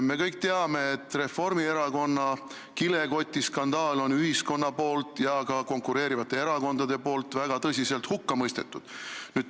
Me kõik teame, et Reformierakonna kilekotiskandaali on ühiskond ja ka konkureerivad erakonnad väga tõsiselt hukka mõistnud.